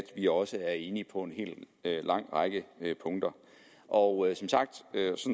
vi også er enige på en lang række punkter og jeg